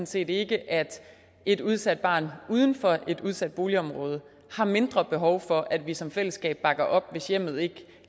set ikke at et udsat barn uden for et udsat boligområde har mindre behov for at vi som fællesskab bakker op hvis hjemmet ikke